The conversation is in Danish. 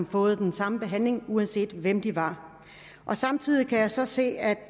fået den samme behandling uanset hvem de var samtidig kan jeg så se at